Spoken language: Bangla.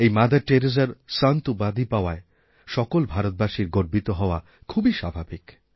এই মাদার টেরেসার সন্ত উপাধি পাওয়ায় সকল ভারতবাসীর গর্বিত হওয়া খুবই স্বাভাবিক